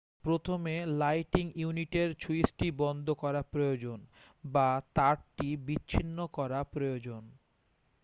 প্রথমে লাইটিং ইউনিটের সুইচটি বন্ধ করা প্রয়োজন বা তারটি বিচ্ছিন্ন করা প্রয়োজন